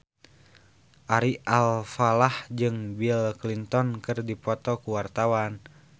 Ari Alfalah jeung Bill Clinton keur dipoto ku wartawan